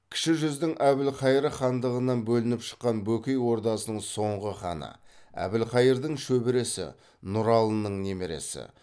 кіші жүздің әбілқайыр хандығынан бөлініп шыққан бөкей ордасының соңғы ханы әбілқайырдың шөбересі нұралының немересі